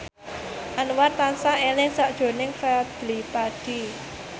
Anwar tansah eling sakjroning Fadly Padi